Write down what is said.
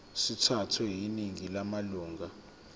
sithathwe yiningi lamalunga